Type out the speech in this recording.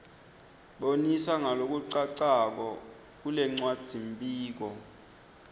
bonisa ngalokucacako kulencwadzimibuto